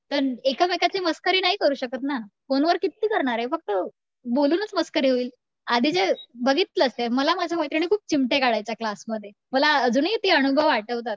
तर एकमेकांची मस्करी नाही करू शकत ना, फोन वर किती करणार आहे? फक्त बोलूनच मस्करी होईल आधी जे बघितलंस का? माझ्या मैत्रिणी मला खूप चिमटे काढायच्या क्लासमध्ये मला अजूनही ते अनुभव आठवतात.